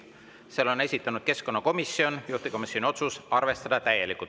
Selle on esitanud keskkonnakomisjon, juhtivkomisjoni otsus on arvestada täielikult.